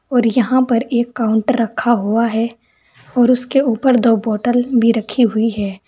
और यहां पर एक काउंटर रखा हुआ है और उसके ऊपर दो बॉटल भी रखी हुई है।